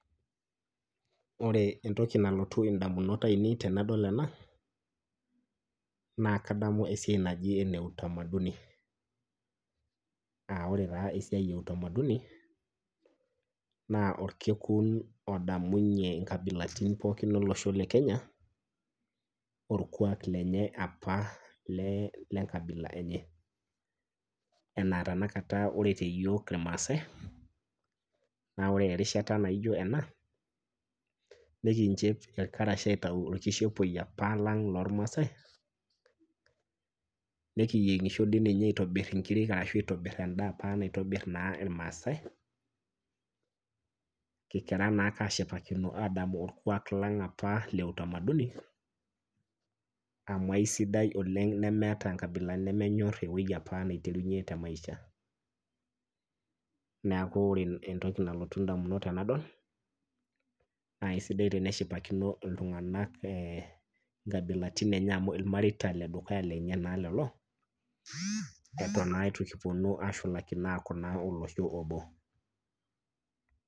Ore entoki nalotu indamunot ainei tenadol ena naa kadamu esiai naji ene  utamaduni. Aaore taa esiai e utamaduni naa olkekun odamunye inkabilaritin pookin olosho le kenya orkwaak lenye apa lee lenkabila enye, enaa tenakata ore teyiook irmaasai naa ore erishata naijo ena nekinchep irkarash aitau olkishepoi apa lang' lormasai nekiyieng'isho dii ninye aitobirr inkirik arashu aitobirr endaa apa naitobirr naa ilmaasai kikira anake ashipakino adamu orkwaak lang apa le utamaduni amu aisidai oleng' nemeata inkabilaritin nemenyorr ewueji apa naiterunye te maisha. Neaku ore entoki nalotu indamunot tenadol naa aisidai teneshipakino iltung'anak eeh inkabilaitin enye amu ilmareita ledukuya lenye naa lelo, eton naa eitu kipuonu ashulakino naa aaku olosho obo.